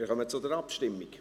Wir kommen zur Abstimmung.